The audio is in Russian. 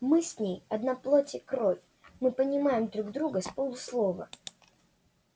мы с ней одна плоть и кровь мы понимаем друг друга с полуслова